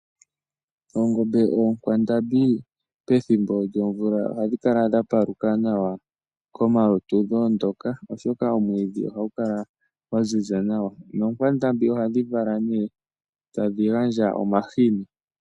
Oongombe (oonkwandambi) pethimbo lyomvula ohadhi kala dha paluka nawa komalutu dho ondoka, oshoka omwiidhi ohagu kala gwa ziza nawa. Nookwandambi ohadhi kala nee tadhi gandja omahini.